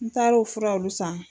N taar'o furaw de san.